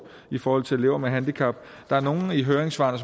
for elever med handicap der er nogle af høringssvarene